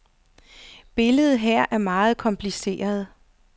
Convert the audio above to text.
Billedet er her meget kompliceret.